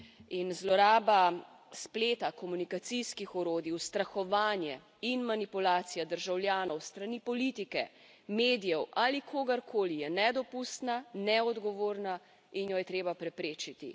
In zloraba spleta, komunikacijskih orodij, ustrahovanje in manipulacija državljanov s strani politike, medijev ali kogarkoli je nedopustna, neodgovorna in jo je treba preprečiti.